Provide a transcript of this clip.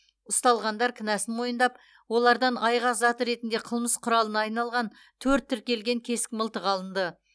ұсталғандар кінәсін мойындап олардан айғақ зат ретінде қылмыс құралына айналған төрт тіркелген кесік мылтық алынды